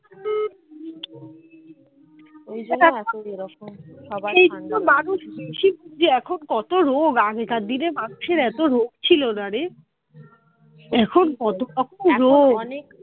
কত রোগ আগেকার দিনের মানুষের এত রোগ ছিল না রে এখন কত কত রোগ